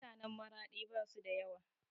Mutanen Maraɗi basu da yawa